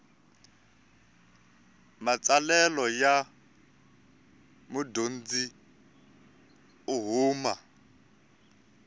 matsalelo ya mudyondzi u huma